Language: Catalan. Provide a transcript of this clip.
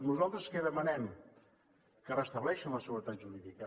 nosaltres què demanem que restableixin la seguretat jurídica